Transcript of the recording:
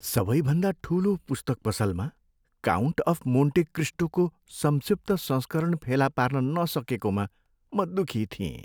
सबैभन्दा ठुलो पुस्तक पसलमा "काउन्ट अफ मोन्टे क्रिस्टो" को संक्षिप्त संस्करण फेला पार्न नसकेकोमा म दुखी थिएँ।